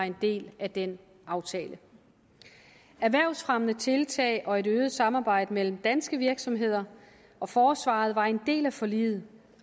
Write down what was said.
en del af den aftale erhvervsfremmende tiltag og et øget samarbejde mellem danske virksomheder og forsvaret var en del af forliget